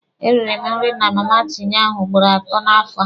E rịrị m nri na Mama Tinye ahụ ugboro atọ n'afọ a.